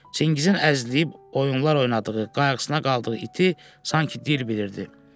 Çingizin əzləyib oyunlar oynadığı, qayğısına qaldığı iti sanki dil bilirdi.